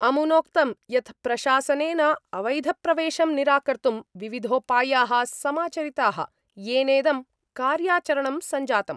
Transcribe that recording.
अमुनोक्तं यत् प्रशासनेन अवैधप्रवेशं निराकर्तुं विविधोपाया: समाचरिता: येनेदं कार्याचरणं सञ्जातम्।